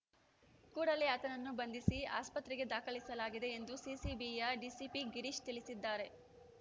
ಕೂಡಲೇ ಆತನನ್ನು ಬಂಧಿಸಿ ಆಸ್ಪತ್ರೆಗೆ ದಾಖಲಿಸಲಾಗಿದೆ ಎಂದು ಸಿಸಿಬಿಯ ಡಿಸಿಪಿ ಗಿರೀಶ್ ತಿಳಿಸಿದ್ದಾರೆ